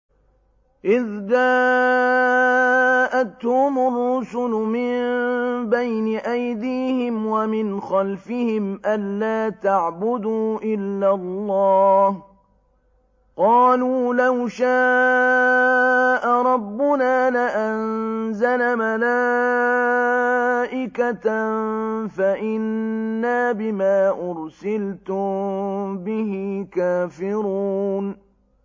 إِذْ جَاءَتْهُمُ الرُّسُلُ مِن بَيْنِ أَيْدِيهِمْ وَمِنْ خَلْفِهِمْ أَلَّا تَعْبُدُوا إِلَّا اللَّهَ ۖ قَالُوا لَوْ شَاءَ رَبُّنَا لَأَنزَلَ مَلَائِكَةً فَإِنَّا بِمَا أُرْسِلْتُم بِهِ كَافِرُونَ